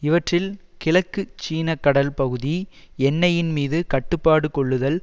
இவற்றில் கிழக்குச் சீன கடல் பகுதி எண்ணெயின் மீது கட்டுப்பாடு கொள்ளுதல்